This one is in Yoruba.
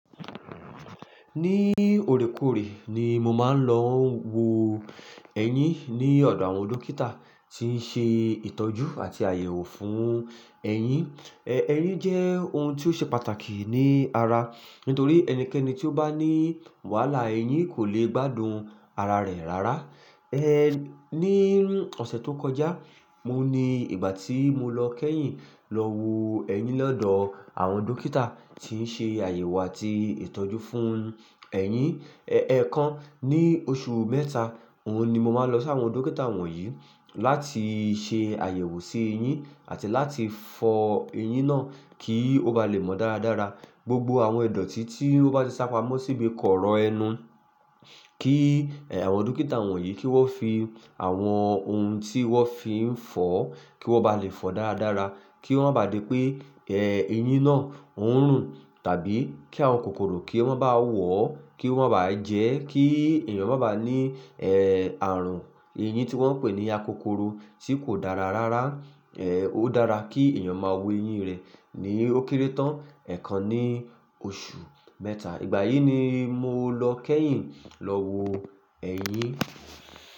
Ní orekoore ni mo máa ń lọ wo ẹyin ní ọ̀dọ̀ àwọn dókítà tí ń ṣe ìtọ́jú àti àyẹ̀wò fún ẹyin. Ẹ ẹyin jẹ́ ohun tí ó ṣe pàtàkì ní ara, nítorí ẹnikẹ́ni tí ó bá ní wàhálà ẹyin kò lè gbádùn ara rẹ̀ rárá. Ehn, ní ọ̀sẹ̀ tó kọjá, mo ní ìgbà tí mo lọ kẹ́yìn lọ wo ẹyin lọ́dọ̀ àwọn dókítà tí ń ṣe àyẹ̀wò àti ìtọ́jú fún ẹyin. Ẹ̀ẹ̀kan ní oṣù mẹ́ta, òun ni mo máa ń lọ sí àwọn dókítà wọ̀nyí láti ṣe àyẹ̀wò sí ẹyin àti láti fọ ẹyin náà kí ó ba lè mọ dára dára. Gbogbo àwọn ìdọ̀tí tí ó bá ti sá pamọ́ sì bá ì kọ̀rọ̀ ẹnu kí àwọn dókítà wọ̀nyí kí wọ́n fi àwọn ohun tí wọ́n fi ń fọ kí wọ́n ba lè fọ dára dára, kí wọ́n má ba à di pé eh ẹyin náà ń rùn tàbí kí àwọn kòkòrò kí wọ́n má ba wọ̀ ọ́, kí wọ́n má ba à jẹ ẹ́, kí èèyàn má ba à ní eh ààrùn ẹyin tí wọ́n ń pè ní akokoro tí kò dára rárá. Eh ó dára kí èèyàn máa wo ẹyin rẹ̀ ní ó kéré tán ẹ̀ẹ̀kan ní oṣù mẹ́ta. Ìgbà yìí ni mo lọ kẹ́yìn lọ wo ẹyin.